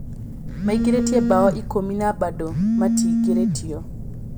Maĩngĩrĩtie mbao ĩkũmi na bado matiingĩrĩtio.